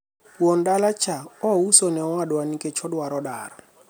wuon dala cha ouso ne owadwa nikech odwaro dar